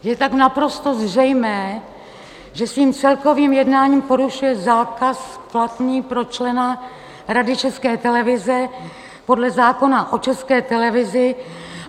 Je tak naprosto zřejmé, že svým celkovým jednáním porušuje zákaz platný pro člena Rady České televize podle zákona o České televizi.